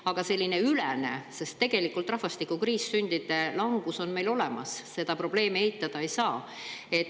Aga ülene, sest rahvastikukriis meil on, sündide langus on olemas, seda probleemi eitada ei saa.